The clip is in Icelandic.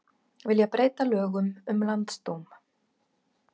Vilja breyta lögum um landsdóm